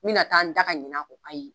N bɛna taa n da ka ɲinɛ a kɔ ayi